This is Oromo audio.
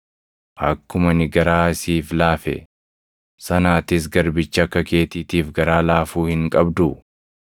Akkuma ani garaa siif laafe sana atis garbicha akka keetiitiif garaa laafuu hin qabduu?’